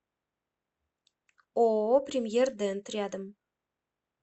ооо премьер дент рядом